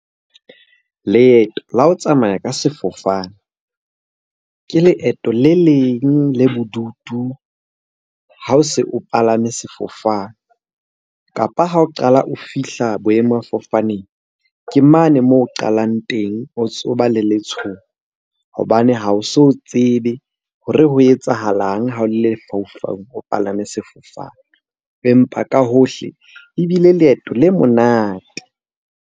Leeto la ho tsamaya ka sefofane ke leeto le leng le bodutu ha o se o palame sefofane. Kapa ha o qala o fihla boemafofaneng, ke mane moo o qalang teng o ba le letshoho hobane ha o so o tsebe hore ho etsahalang ha o le lefaufaung o palame sefofane. Empa ka hohle ebile leeto le monate.